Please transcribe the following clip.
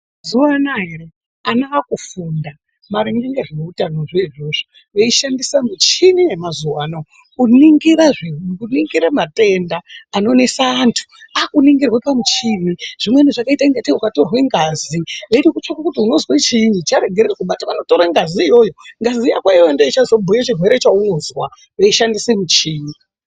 Mazuwaanaya ere ana akufunda maringe ngezveutanozvo izvozvo veishandisa muchini yemazuwaano kuningira zvi-matenda anonesa antu akuningira pamuchini zvimweni zvakaita ingatei watorwa ngazi eida kutsvaka kuti unozwa chiinyi . Charegera kubatwa anotore ngazi iyoyo, ngazi yako iyoyo ndiyo ichazobhuya chirwere chaunozwa veishandise muchini.